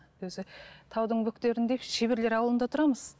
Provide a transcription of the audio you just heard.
өзі таудың бөктерінде шеберлер ауылында тұрамыз